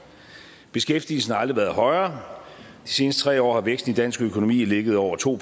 beskæftigelsen har aldrig været højere de seneste tre år har væksten i dansk økonomi ligget over to